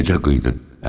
Necə qıydın?